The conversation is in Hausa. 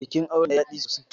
Bikin auren yayi daɗi sosai.